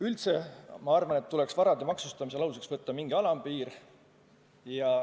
Üldse ma arvan, et tuleks varade maksustamisel aluseks võtta mingi alampiir.